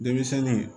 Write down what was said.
Denmisɛnnin